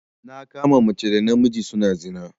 Na kama mace da namiji suna zina.